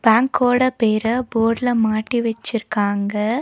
பேங்கோட பேர போட்ல மாட்டி வச்சுருக்காங்க.